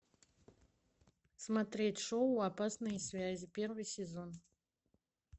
смотреть шоу опасные связи первый сезон